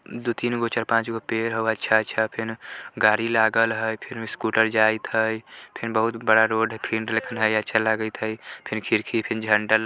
दु तीनगो चार पांच गो पेड हउ अच्छा अच्छा फेन गारी लागल हई फेन स्कूटर जाइत हई फे न बहुत बड़ा रोड हई फिन अच्छा लागयीत हई फेन खिरकी फिन झंडा--